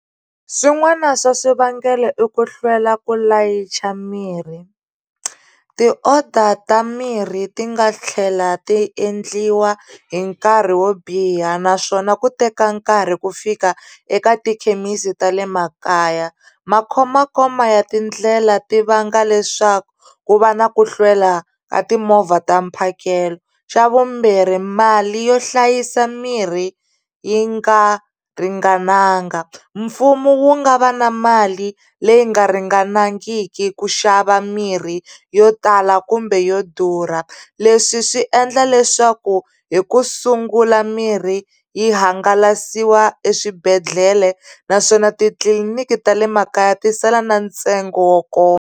Swin'wana swa swivangelo i ku hlwela ku layicha mirhi ti-orders ta mirhi ti nga tlhela ti endliwa hi nkarhi wo biha naswona ku teka nkarhi ku fika eka tikhemisi ta le makaya ma khomakhoma ya tindlela ti vanga leswaku ku va na ku hlwela ka timovha ta mphakelo xa vumbirhi mali yo hlayisa mirhi yi nga ringananga mfumo wu nga va na mali leyi nga ringanangiki ku xava mirhi yo tala kumbe yo durha leswi swi endla leswaku hi ku sungula mirhi yi hangalasiwa eswibedhlele naswona titliliniki ta le makaya ti sala na ntsengo wo koma.